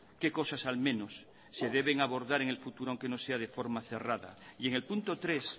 qué cosas al menos se deben abordar en el futuro aunque no sea de forma cerrada y en el punto tres